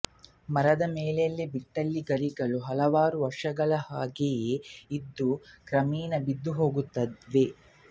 ಮರದ ಮೇಲೆಯೇ ಬಿಟ್ಟಲ್ಲಿ ಗರಿಗಳು ಹಲವಾರು ವರ್ಷಗಳು ಹಾಗೆಯೇ ಇದ್ದು ಕ್ರಮೇಣ ಬಿದ್ದುಹೋಗುತ್ತವೆ